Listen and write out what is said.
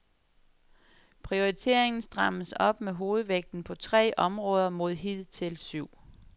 Prioriteringen strammes op med hovedvægten på tre områder mod hidtil syv.